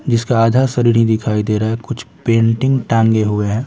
जिसका आधा शरीर ही दिखाई दे रहा है कुछ पेंटिंग टांगे हुए हैं।